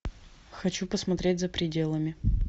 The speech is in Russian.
хочу посмотреть за пределами